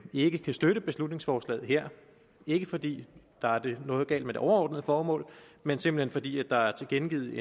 ikke kan støtte beslutningsforslaget her ikke fordi der er noget galt med det overordnede formål men simpelt hen fordi der er tilkendegivet